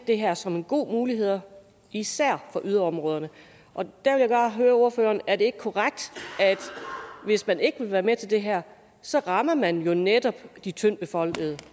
det her som en god mulighed især for yderområderne jeg vil bare høre ordføreren er det ikke korrekt at hvis man ikke vil være med til det her så rammer man jo netop de tyndtbefolkede